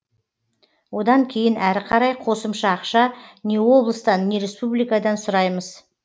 одан кейін әрі қарай қосымша ақша не облыстан не республикадан сұраймыз